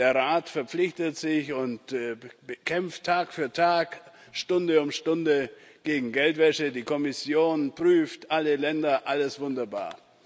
der Rat verpflichtet sich und kämpft Tag für Tag, Stunde um Stunde gegen Geldwäsche, die Kommission prüft alle Länder alles wunderbar.